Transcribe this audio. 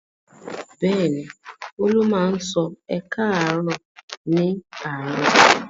Bẹ́ẹ̀ ni, Olú máa ń sọ "ẹ káàárọ̀" ní àárọ̀.